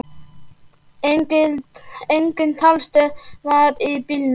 Engin talstöð var í bílnum.